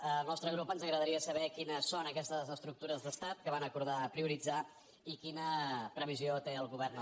al nostre grup ens agradaria saber quines són aques·tes estructures d’estat que van acordar prioritzar i qui·na previsió té el govern al respecte